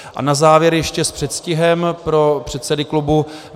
A na závěr ještě s předstihem pro předsedy klubů.